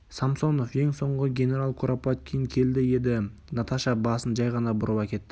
самсонов ең соңғы генерал куропаткин келді еді наташа басын жай ғана бұрып әкетті